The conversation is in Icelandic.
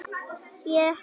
Þetta er mjög slæm þróun